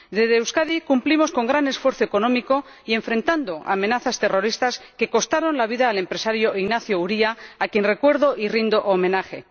Desde Euskadi cumplimos con gran esfuerzo económico y enfrentando amenazas terroristas que costaron la vida al empresario Ignacio Uría, a quien recuerdo y rindo homenaje.